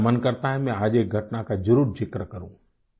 लेकिन मेरा मन करता है आज एक घटना का जरूर जिक्र करूं